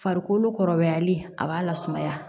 Farikolo kɔrɔbayali a b'a lasumaya